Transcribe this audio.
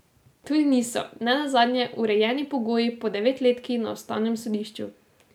Tudi niso, ne nazadnje, urejeni pogoji po devetletki na ustavnem sodišču.